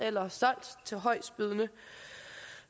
eller solgt til højestbydende